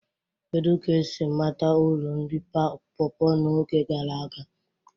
Kedu ka esi mata uru nri pawpaws n'oge gara aga?